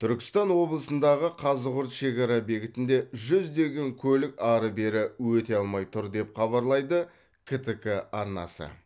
түркістан облысындағы қазығұрт шекара бекетінде жүздеген көлік ары бері өте алмай тұр деп хабарлайды ктк арнасы